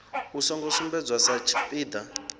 u songo sumbedzwa sa tshipiḓa